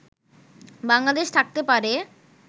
বাংলাদেশ থাকতে পারে